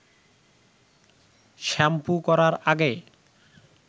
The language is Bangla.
শ্যাম্পু করার আগে